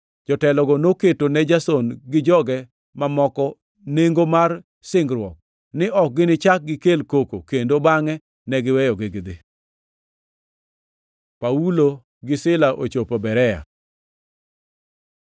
Jotelogo noketo ne Jason gi joge mamoko nengo mar singruok ni ok ginichak gikel koko kendo, bangʼe ne giweyogi gidhi. Paulo gi Saulo ochopo Berea